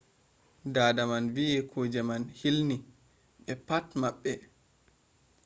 dada man wi kuje man hilni ɓe pat maɓɓe.